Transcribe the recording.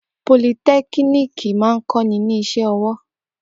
Politẹ́kiniki máa ń kọ́ ni ní iṣẹ́ ọwọ́.